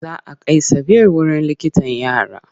Za a kai Sabir wurin likitan yara.